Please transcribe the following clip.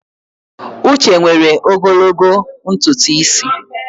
Uche nwere ogologo ntutu isi.